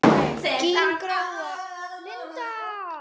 Þín Gróa.